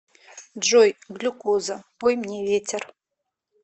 джой глюкоза пой мне ветер